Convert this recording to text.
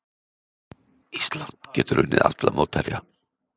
Ísland getur unnið alla mótherja